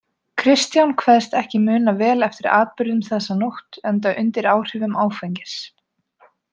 Kristján kveðst ekki muna vel eftir atburðum þessa nótt, enda undir áhrifum áfengis.